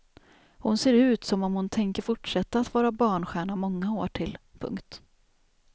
Hon ser ut som om hon tänker fortsätta att vara barnstjärna många år till. punkt